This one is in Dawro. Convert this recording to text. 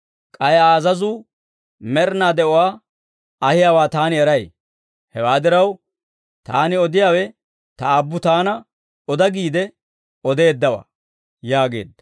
K'ay Aa azazuu med'inaa de'uwaa ahiyaawaa Taani eray; hewaa diraw, Taani odiyaawe Ta Aabbu Taana oda giide odeeddawaa» yaageedda.